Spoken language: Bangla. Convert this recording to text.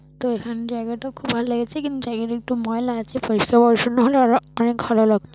তো এখানে জায়গাটা খুব ভালো লেগেছে কিন্তু জায়গাটা একটু ময়লা আছে পরিষ্কার পরিচ্ছন্ন হলে আরো অনেক ভালো লাগত।